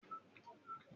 Iṣẹ́ olùkọ́ ni mò n ṣe